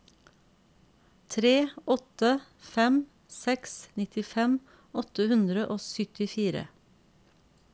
tre åtte fem seks nittifem åtte hundre og syttifire